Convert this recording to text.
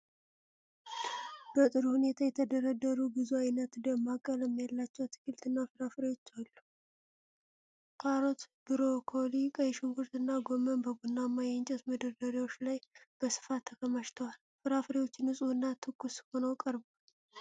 በጥሩ ሁኔታ የተደረደሩ ብዙ አይነት ደማቅ ቀለም ያላቸው አትክልትና ፍራፍሬዎች አሉ። ካሮት፣ ብሮኮሊ፣ ቀይ ሽንኩርት እና ጎመን በቡናማ የእንጨት መደርደሪያዎች ላይ በስፋት ተከማችተዋል። ፍሬዎቹ ንጹህና ትኩስ ሆነው ቀርበዋል።